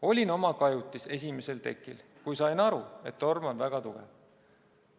"Olin oma kajutis esimesel tekil, kui sain aru, et torm on väga tugev.